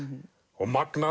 og magnað